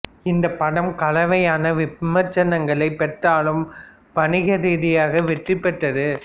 இந்த படம் கலவையான விமர்சனங்களை பெற்றாலும் வணிக ரீதியாக வெற்றி பெற்றது